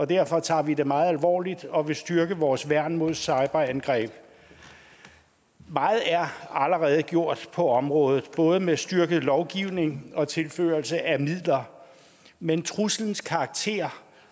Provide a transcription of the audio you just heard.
derfor tager vi det meget alvorligt og vil styrke vores værn mod cyberangreb meget er allerede gjort på området både med styrket lovgivning og tilførsel af midler men truslens karakter